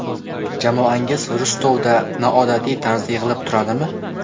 Jamoangiz Rostovda noodatiy tarzda yig‘ilib turadimi?